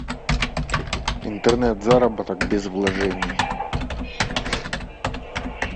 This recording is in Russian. интернет заработок без вложений